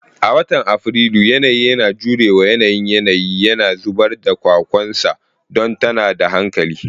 A watan Afrilu, yanayi yana jure wa yanayin yanayi, yana zubar da kwakwansa don tada da hankali.